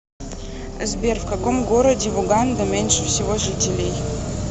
сбер в каком городе в уганда меньше всего жителей